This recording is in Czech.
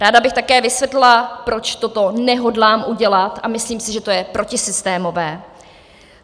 Ráda bych také vysvětlila, proč to nehodlám udělat a myslím si, že to je protisystémové.